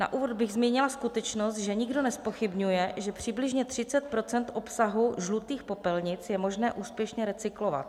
Na úvod bych zmínila skutečnost, že nikdo nezpochybňuje, že přibližně 30 % obsahu žlutých popelnic je možné úspěšně recyklovat.